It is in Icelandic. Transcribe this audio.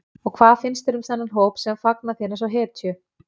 Og hvað finnst þér um þennan hóp sem fagnar þér eins og hetju?